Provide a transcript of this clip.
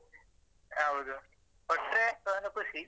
ಹೌದು ಕೊಟ್ರೆ ಒಂದು ಖುಷಿ.